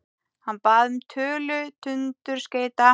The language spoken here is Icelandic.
Hann bað um tölu tundurskeyta.